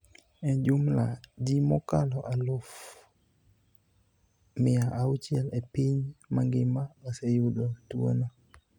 e jumla ji mokalo eluf mia auchiel e piny mangima, oseyudo tuo no